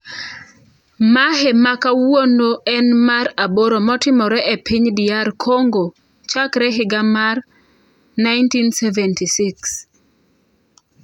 Mamhe ma kawuono en mar aboro motimore e piny DR Kongo chakre higa mar 1976.